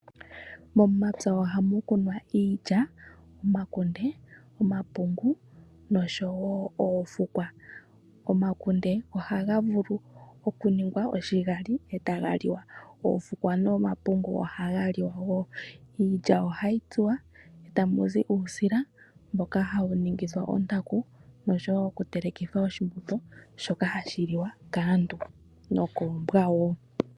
Momapya oha mu kunwa iilya, omakunde, omapungu nosho wo oofukwa. Omakunde ohaga vulu okuningwa oshigali e taga liwa, oofukwa nomakunde ohaga liwa wo. Iilya ohayi tsuwa e ta mu zi uusila mboka hawu ningithwa ontaku noshowo okutelekithwa oshimbombo shoka hashi liwa kaantu nokoombwa wo.